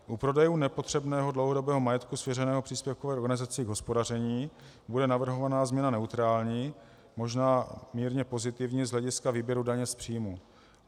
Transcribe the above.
U prodejů nepotřebného dlouhodobého majetku svěřeného příspěvkové organizaci k hospodaření bude navrhovaná změna neutrální, možná mírně pozitivní z hlediska výběru daně z příjmů.